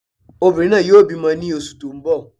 Obìnrin náà yóò bímọ ní oṣù tó n bọ̀